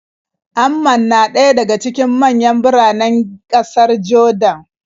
Amman na ɗaya daga cikin manyan biranen ƙasar Jordan.